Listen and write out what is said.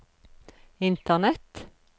internett